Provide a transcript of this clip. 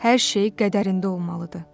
Hər şey qədərində olmalıdır.